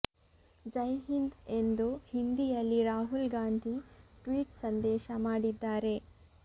ಜೈ ಹಿಂದ್ ಎಂದು ಹಿಂದಿಯಲ್ಲಿ ರಾಹುಲ್ ಗಾಂಧಿ ಟ್ವೀಟ್ ಸಂದೇಶ ಮಾಡಿದ್ದಾರೆ